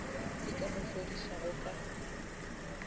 se ka mo fodišago ka